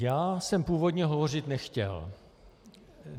Já jsem původně hovořit nechtěl.